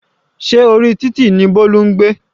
Se orí títì ní Bolu ń gbé?